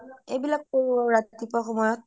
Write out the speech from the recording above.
এইবিলাক কৰো ৰাতিপুৱা সময়ত